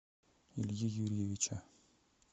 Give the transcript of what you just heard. ильи юрьевича